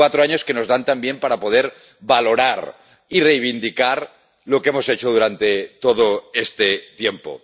Cuatro años que nos dan también para poder valorar y reivindicar lo que hemos hecho durante todo este tiempo.